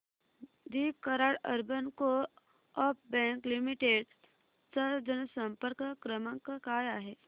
दि Karad urban co op bank limited चा जनसंपर्क क्रमांक काय आहे